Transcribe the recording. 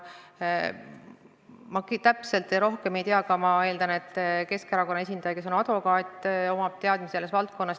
Ma täpselt rohkem ei tea, aga ma eeldan, et Keskerakonna esindaja, kes on advokaat, omab ka teadmisi selles valdkonnas.